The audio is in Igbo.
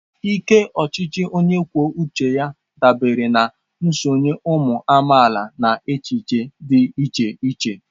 Ike ochichi onye kwuo uche ya dabere na nsonye ụmụ amaala na echiche dị iche iche.